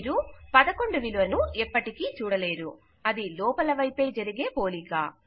మీరు 11 విలువను ఎప్పటికీ చూడలేరు అది లోపల వైపే జరిగే పోలిక